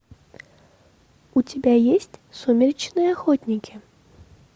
у тебя есть сумеречные охотники